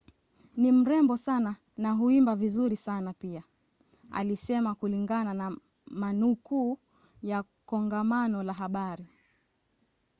"ni mrembo sana na huimba vizuri sana pia alisema kulingana na manukuu ya kongamano la habari